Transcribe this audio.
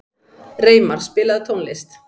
Reimar, spilaðu tónlist.